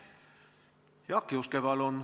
Jaak Juske, palun!